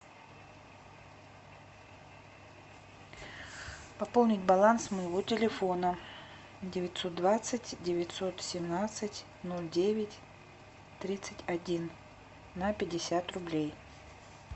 пополнить баланс моего телефона девятьсот двадцать девятьсот семнадцать ноль девять тридцать один на пятьдесят рублей